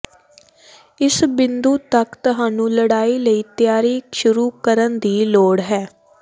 ਇਸ ਬਿੰਦੂ ਤੱਕ ਤੁਹਾਨੂੰ ਲੜਾਈ ਲਈ ਤਿਆਰੀ ਸ਼ੁਰੂ ਕਰਨ ਦੀ ਲੋੜ ਹੈ